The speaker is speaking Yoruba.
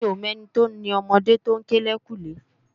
Mi ó mò èni ti ó ni òmòdé tó n ké lèyinkúnlé